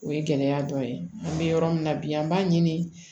O ye gɛlɛya dɔ ye an bɛ yɔrɔ min na bi an b'a ɲini